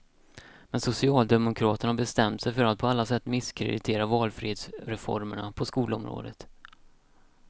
Men socialdemokraterna har bestämt sig för att på alla sätt misskreditera valfrihetsreformerna på skolområdet.